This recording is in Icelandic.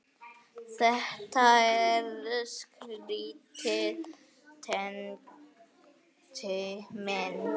Þetta er skrýtið Tengdi minn.